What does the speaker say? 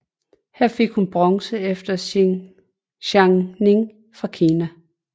Her fik hun bronze efter Zhang Ning fra Kina